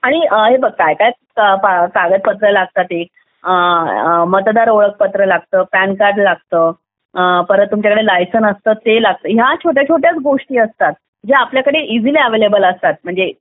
आणि हे बघ काय काय कागदपत्र लागतात ते मतदार ओळखपत्र लागतं पॅन कार्ड लागतं परत तुमच्याकडे लायसन्स असतात ते लागतं या सगळ्या छोट्या छोट्या गोष्टी असतात जे आपल्याकडे इजिली अवेलेबल असतात म्हणजे